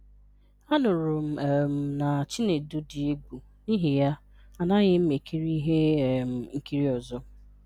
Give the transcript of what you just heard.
"Anụrụ m um na Chinedu dị egwu n'ihi ya, anaghị m ekiri ihe um nkiri ọzọ."